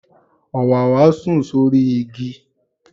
Òwáwá sùn sórí igi.